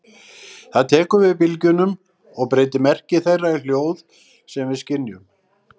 Það tekur við bylgjunum og breytir merki þeirra í hljóð sem við skynjum.